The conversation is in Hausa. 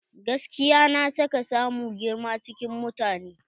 Gaskiya na sa ka samu girma cikin mutane.